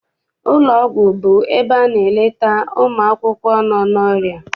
Ụlọ ọgwụ bụ ebe a na-eleta ụmụakwụkwọ nọ n'ọrịa.